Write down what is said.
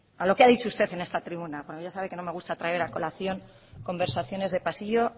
a lo que ha dicho usted en esta tribuna porque ya sabe que no me gusta traer a colación conversaciones de pasillo